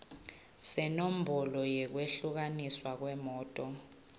senombolo yekwehlukaniswa kwemoti